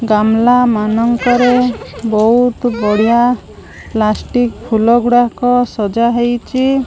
ଗାମ୍ଳା ମାନଙ୍କର ବହୁତ ବଢିଆ ପ୍ଲାଷ୍ଟିକ ଫୁଲ ଗୁଡାକ ସଜା ହେଇଚି।